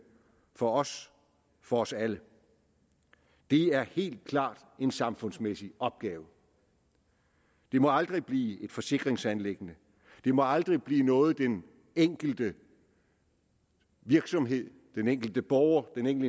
for os for os alle det er helt klart en samfundsmæssig opgave det må aldrig blive et forsikringsanliggende det må aldrig blive noget den enkelte virksomhed den enkelte borger den